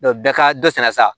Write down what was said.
bɛɛ ka dɔ sara